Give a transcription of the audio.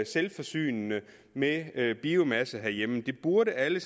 selvforsynende med biomasse herhjemme det burde alle